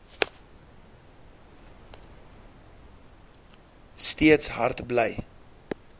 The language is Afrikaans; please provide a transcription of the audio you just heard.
steeds hard bly